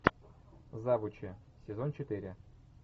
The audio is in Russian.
завучи сезон четыре